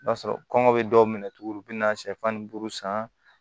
I b'a sɔrɔ kɔngɔ be dɔw minɛ tuguni u be na sɛfan ni duuru san